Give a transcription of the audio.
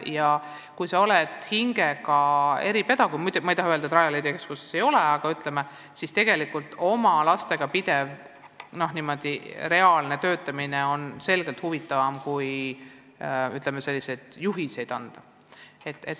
Ja kui sa oled hingelt eripedagoog – ma ei taha öelda, et Rajaleidja keskuses selliseid inimesi ei ole –, siis peaks lastega pidev konkreetne töötamine olema huvitavam kui, ütleme, juhiste andmine.